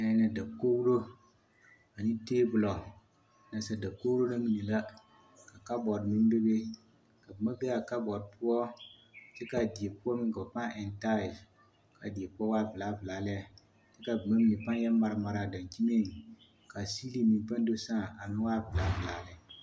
Dakogiro ane teebolo, nasadakogiro na mine la, kabɔɔte meŋ bebe, ka boma be a kabɔɔte poɔ kyɛ k'a die poɔ meŋ ka ba pãã eŋ taayilsi, k'a die poɔ waa velaa velaa lɛ k'a boma mine pãã yɛ mare mare a dankyiniŋ k'a siiliŋ meŋ pãã do sãã a meŋ waa velaa velaa lɛ.